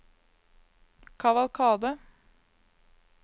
kavalkade